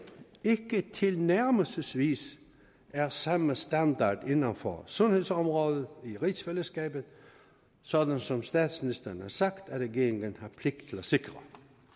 ikke tilnærmelsesvis er samme standard inden for sundhedsområdet i rigsfællesskabet sådan som statsministeren har sagt at regeringen har pligt til at sikre